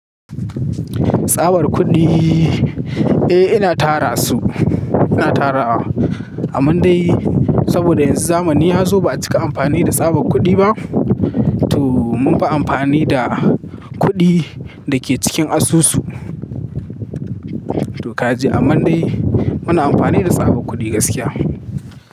Tsabar kuɗi, eh ina tara su, ina tara amman dai saboda yanzu zamani ya zo ba a cika amfani da tsabar kuɗi ba. To munfi amfani da kuɗi da ke cikin asusu. To kaji a mundai muna amfani da tsabar kuɗi gaskiya.